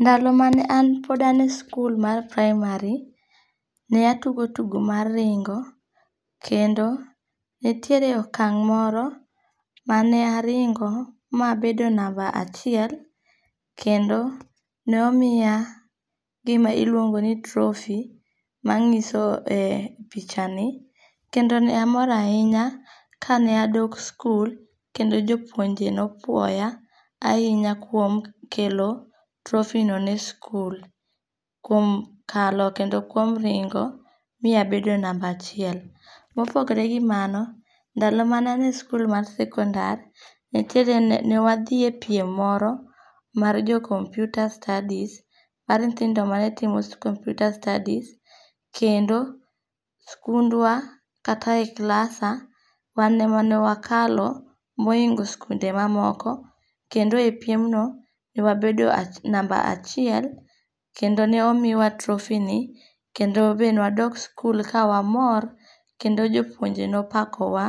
Ndalo mane an pod ane e skul mar primary, ne atugo tugo mar ringo', kendo nitiere okang' moro mane aringo ma abedo number achiel ma omiya gima iluongo ni trophy manyiso e pichani kendo ne amor ahinya ka ne adok school kendo jopuonje ne opwoya ahinya kuom kelo trophyno ne skul, kuom kalo kendo kuom ringo ma abedo [csnumber achiel, mopogore gi mano, ndalo mane anie skul mar secondar newathie piem moro mar jo computer studies kendo skundwa kata e klasa wane ema ne wakalo ma ohingo' skunde ma moko, kendo e piemno newabedo number achiel kendo ne omiya trophyni kendo be ne wadok skul ka ne wamor kendo jopuonje ne opakowa